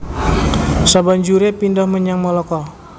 Sabanjuré pindhah menyang Malaka